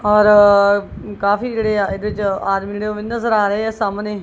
ਔਰ ਕਾਫੀ ਜਿਹੜੇ ਆ ਇਹਦੇ 'ਚ ਆਦਮੀਂ ਜਿਹੜੇ ਓਹ ਵੀ ਨਜ਼ਰ ਆ ਰਹੇ ਆ ਸਾਹਮਣੇ।